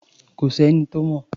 Kò s’ẹ́ni tó mọ̀.